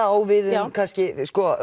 á við um kannski